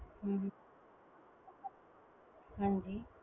ਹਮ ਹਾਂਜੀ